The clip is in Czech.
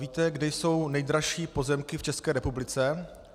Víte, kde jsou nejdražší pozemky v České republice?